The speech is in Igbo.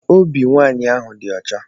Obi nwaanyị ahụ di ọcha.